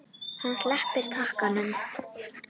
Hann sleppir takinu.